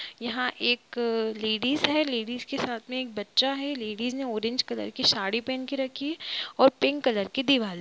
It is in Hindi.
यहाँ एक अ- लेडिस है। लेडिस के सामने एक बच्चा है। लेडिस ने ऑरेंज कलर की साड़ी पहन के रखी है और पिक कलर की दीवाल --